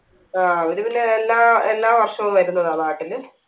ആ അവര് പിന്നെ എല്ലാ എല്ലാ വർഷവും വരുന്നതാ നാട്ടില്